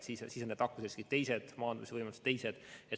Siis on nakkusrisk teine ja maandamisvõimalused teised.